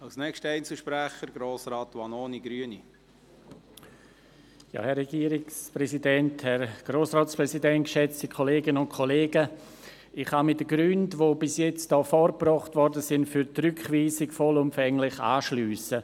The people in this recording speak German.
Ich kann mich den Gründen, die bis jetzt für die Rückweisung vorgebracht wurden, vollumfänglich anschliessen.